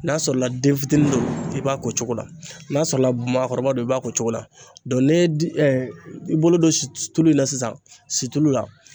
N'a sɔrɔ la den fitinin don i b'a ko cogo la n'a sɔrɔla maakɔrɔba don i b'a ko cogo la n'e i bolo don tulu in na sisan situlu la.